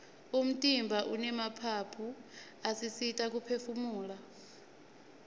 umtimba unemaphaphu asisita kuphefumula